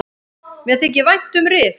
Mér þykir vænt um Rif.